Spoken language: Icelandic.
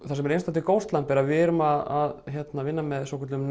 það sem er einstakt við Ghostlamp er að við erum að vinna með svokölluðum